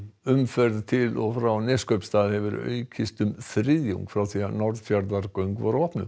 umferð til og frá Neskaupstað hefur aukist um þriðjung frá því Norðfjarðargöng voru opnuð